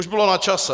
Už bylo na čase.